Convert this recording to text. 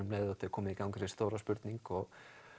komin í gang þessi stóra spurning og